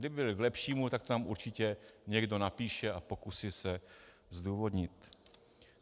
Kdyby byly k lepšímu, tak to tam určitě někdo napíše a pokusí se zdůvodnit.